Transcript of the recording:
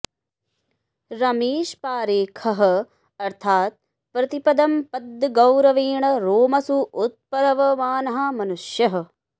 रमेश पारेखः अर्थात् प्रतिपदं पद्यगौरवेण रोमसु उत्पलवमानः मनुष्यः